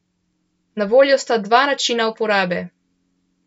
Na voljo sta dva načina uporabe.